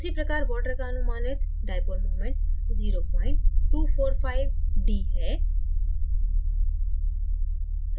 उसी प्रकार water का अनुमानित dipole मूमेंट0245d है